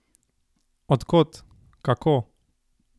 Od kod, kako?